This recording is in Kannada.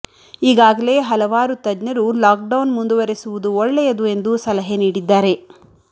ಈಗಾಗಲೇ ಹಲವಾರು ತಜ್ಞರು ಲಾಕ್ಡೌನ್ ಮುಂದುವರೆಸುವುದು ಒಳ್ಳೆಯದು ಎಂದು ಸಲಹೆ ನೀಡಿದ್ದಾರೆ